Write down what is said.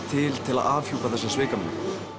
til til að afhjúpa þessa svikamyllu